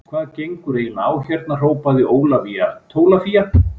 Hvað gengur eiginlega á hérna hrópaði Ólafía Tólafía.